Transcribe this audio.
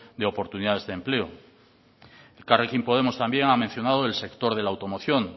de oportunidades de empleo elkarrekin podemos también ha mencionado el sector de la automoción